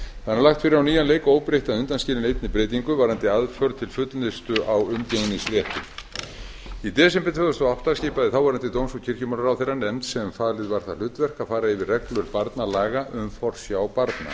það er nú lagt fyrir á nýjan leik óbreytt að undanskilinni einni breytingu varðandi aðför til fullnustu á umgengnisrétti í desember tvö þúsund og átta skipaði þáverandi dóms og kirkjumálaráðherra nefnd sem falið var það hlutverk að fara yfir reglur barnalaga um forsjá barna